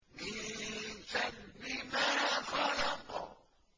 مِن شَرِّ مَا خَلَقَ